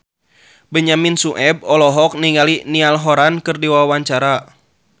Benyamin Sueb olohok ningali Niall Horran keur diwawancara